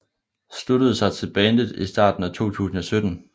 Sluttede sig til bandet i starten af 2007